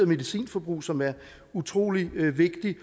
medicinforbrug som er utrolig vigtigt